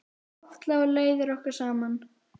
Oft lágu leiðir okkar saman.